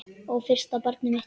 Og fyrsta barnið mitt.